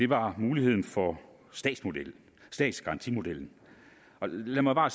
var muligheden for statsgarantimodellen og lad mig bare